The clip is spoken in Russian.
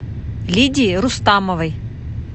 лидии рустамовой